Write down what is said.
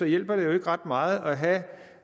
hjælper det jo ikke ret meget